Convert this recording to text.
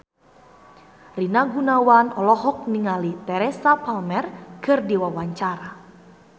Rina Gunawan olohok ningali Teresa Palmer keur diwawancara